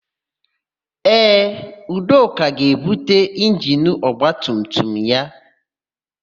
Ee, Udoka ga-ebute injini ọgbatumtum ya.